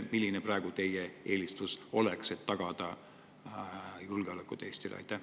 Milline praegu teie eelistus oleks, et tagada Eesti julgeolek?